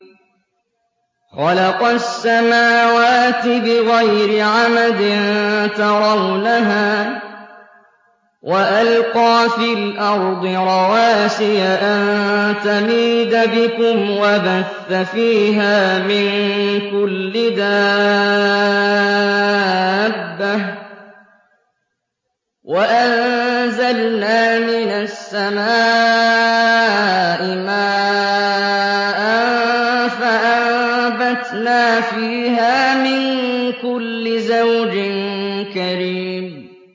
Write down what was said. خَلَقَ السَّمَاوَاتِ بِغَيْرِ عَمَدٍ تَرَوْنَهَا ۖ وَأَلْقَىٰ فِي الْأَرْضِ رَوَاسِيَ أَن تَمِيدَ بِكُمْ وَبَثَّ فِيهَا مِن كُلِّ دَابَّةٍ ۚ وَأَنزَلْنَا مِنَ السَّمَاءِ مَاءً فَأَنبَتْنَا فِيهَا مِن كُلِّ زَوْجٍ كَرِيمٍ